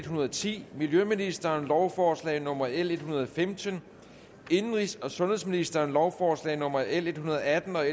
hundrede og ti miljøministeren lovforslag nummer l en hundrede og femten indenrigs og sundhedsministeren lovforslag nummer l en hundrede og atten og